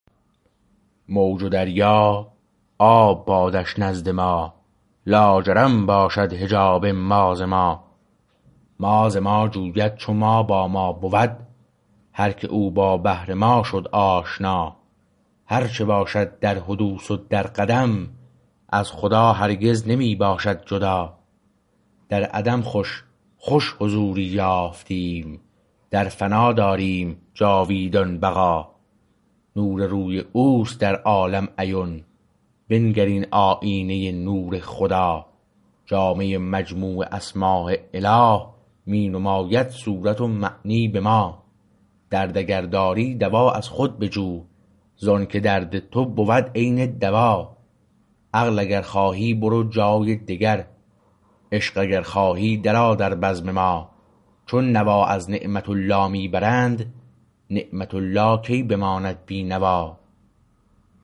موج و دریا آب بادش نزد ما لاجرم باشد حجاب ما ز ما ما ز ما جوید چو ما با ما بود هر که او با بحر ما شد آشنا هر چه باشد در حدوث و در قدم از خدا هرگز نمی باشد جدا در عدم خوش خوش حضوری یافتیم در فنا داریم جاویدان بقا نور روی او است در عالم عیان بنگر این آیینه نور خدا جامع مجموع اسمای اله می نماید صورت و معنی به ما درد اگر داری دوا از خود بجو زانکه درد تو بود عین دوا عقل اگر خواهی برو جای دگر عشق اگر خواهی درآ در بزم ما چون نوا از نعمت الله می برند نعمت الله کی بماند بینوا